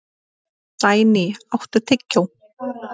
Sæný, áttu tyggjó?